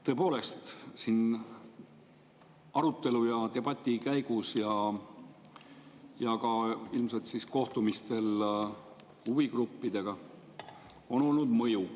Tõepoolest, siinsel arutelul ja debatil ning ilmselt ka kohtumistel huvigruppidega on olnud mõju.